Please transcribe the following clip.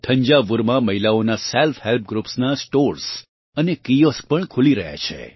થંજાવુરમાં મહિલાઓનાં self help groups નાં stores અને કિઓસ્ક પણ ખુલી રહ્યાં છે